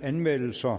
anmeldelser